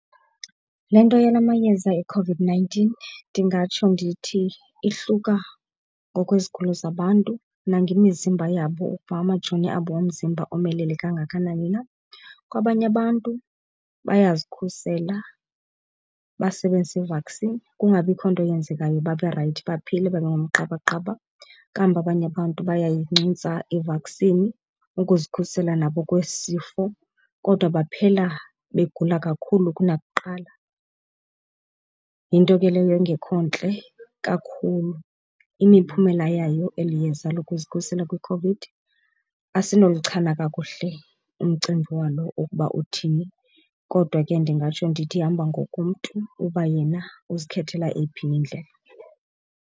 Le nto yala mayeza eCOVID-nineteen ndingatsho ndithi ihluka ngokwezigulo zabantu nangemizimba yabo ukuba amajoni abo omzimba omelele kangakanani na. Kwabanye abantu bayazikhusela basebenzise i-vaccine kungabikho nto yenzekayo babe rayithi, baphile babe ngumqabaqaba. Kambe abanye abantu bayayincuntsa i-vaccine ukuzikhusela nabo kwesi sifo kodwa baphela begula kakhulu kunakuqala. Yinto ke leyo engekho ntle kakhulu. Imiphumela yayo eli yeza lokuzikhusela kwiCOVID asinolichana kakuhle umcimbi walo ukuba uthini kodwa ke ndingatsho ndithi ihamba ngokomntu uba yena uzikhethela eyiphi na indlela.